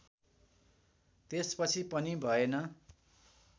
त्यसपछि पनि भएन